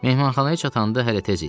Mehmanxanaya çatanda hələ tez idi.